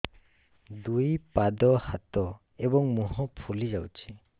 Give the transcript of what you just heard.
ଦୁଇ ପାଦ ହାତ ଏବଂ ମୁହଁ ଫୁଲି ଯାଉଛି